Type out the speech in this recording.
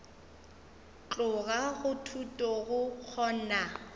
tloga go thuto go kgona